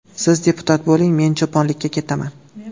Siz deputat bo‘ling, men cho‘ponlikka ketaman”.